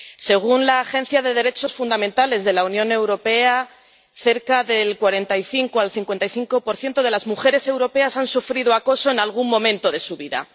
Según la Agencia de Derechos Fundamentales de la Unión Europea, cerca del 45 al 55 de las mujeres europeas han sufrido acoso en algún momento de su vida.